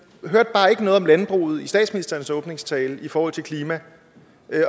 hørte bare ikke noget om landbruget i statsministerens åbningstale i forhold til klima